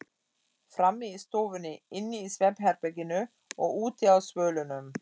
Frammi í stofunni, inni í svefnherberginu og úti á svölunum.